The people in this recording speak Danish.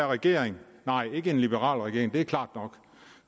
regering nej ikke en liberal regering det er klart nok